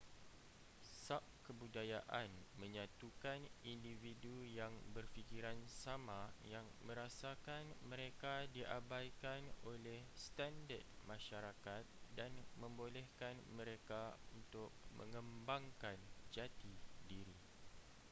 subkebudayaan menyatukan individu yang berfikiran sama yang merasakan mereka diabaikan oleh standard masyarakat dan membolehkan mereka untuk mengembangkan jati diri